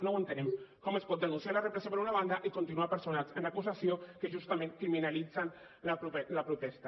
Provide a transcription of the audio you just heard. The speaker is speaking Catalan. no ho entenem com es pot denunciar la repressió per una banda i continuar personats en acusacions que justament criminalitzen la protesta